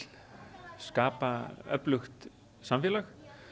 skapa öflugt samfélag